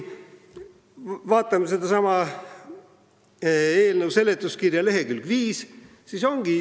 Vaatame eelnõu seletuskirja lehekülge 5.